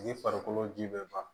I farikolo ji bɛ ban